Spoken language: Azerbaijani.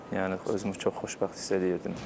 Yəni özümü çox xoşbəxt hiss eləyirdim.